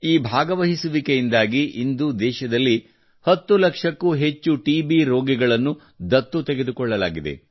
ಈ ಭಾಗವಹಿಸುವಿಕೆಯಿಂದಾಗಿ ಇಂದು ದೇಶದಲ್ಲಿ 10 ಲಕ್ಷಕ್ಕೂ ಹೆಚ್ಚು ಟಿಬಿ ರೋಗಿಗಳನ್ನು ದತ್ತು ತೆಗೆದುಕೊಳ್ಳಲಾಗಿದೆ